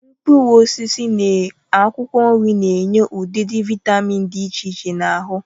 Mkpụrụosisi na akwụkwọ nri n'enye ụdịdị vịtamịn dị iche iche n'ahụ.